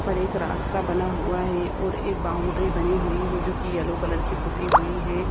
पर एक रास्ता बना हुआ है और एक बॉउन्ड्री बनी हुई है जोकी येलो कलर की पुती हुई है।